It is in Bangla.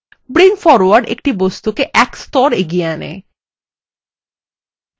bring forward একটি বস্তুকে এক স্তর এগিয়ে আনে